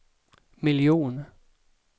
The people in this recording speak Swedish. miljon